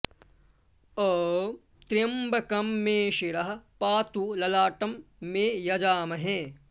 ॐ त्रयम्बकं मे शिरः पातु ललाटं मे यजामहे